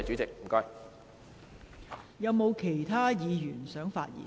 是否有其他議員想發言？